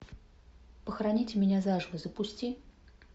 похороните меня заживо запусти